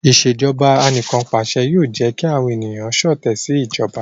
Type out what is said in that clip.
Ìṣèjọba Anìkanpàṣẹ yoo jẹ ki awọn eniyan ṣọtẹ si ijọba